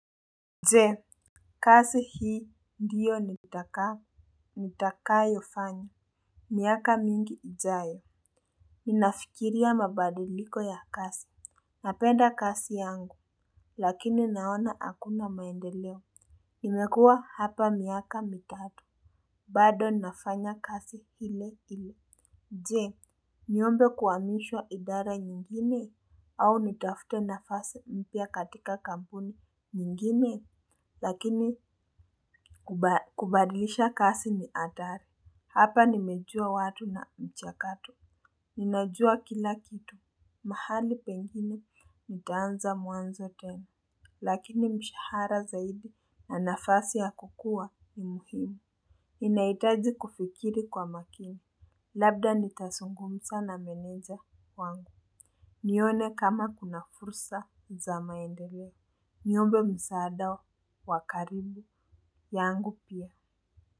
Je kazi hii ndiyo nitakayofanya miaka mingi ijayo ninafikiria mabadiliko ya kazi napenda kazi yangu lakini naona hakuna maendeleo nimekuwa hapa miaka mitatu bado nafanya kazi ile ile nje niombe kuhamishwa idara nyingine au nitafute nafasi mpya katika kampuni nyingine. Lakini kubadilisha kasi ni adhari. Hapa nimejua watu na mchakatu. Ninajua kila kitu. Mahali pengine nitaanza mwanzo tenu. Lakini mshahara zaidi na nafasi ya kukua ni muhimu. Inahitaji kufikiri kwa makini. Labda nitazungumza na meneja wangu. Nione kama kuna fursa za maendeleo. Niombe msaada wa wa kadri yangu pia.